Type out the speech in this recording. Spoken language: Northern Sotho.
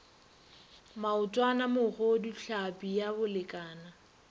maotwana mogodu tlhapi ya bolekana